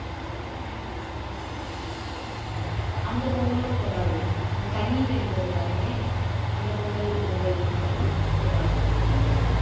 அந்த பொங்கலும் கொண்டாடுவோம் கன்னிப் பெண்கள் எல்லாருமே அந்தப் பொங்கல் பொங்கல் பண்ணி கொண்டாடுவோம் ராகுல்